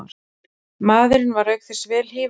Maðurinn var auk þess vel hífaður